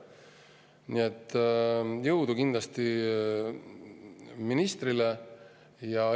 Nii et jõudu kindlasti ministrile!